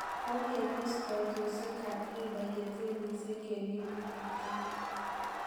Kogebos koitosiek ab riba ye tenisiek en emet ab kenya.